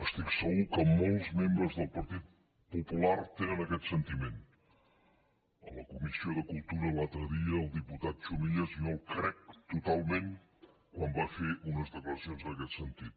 estic segur que molts membres del partit popular tenen aquest sentiment a la comissió de cultura l’altre dia al diputat chumillas jo el crec totalment quan va fer unes declaracions en aquest sentit